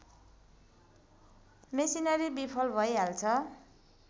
machinery विफल भइहाल्छ